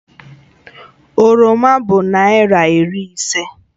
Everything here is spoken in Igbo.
Oroma bụ naịra iri ise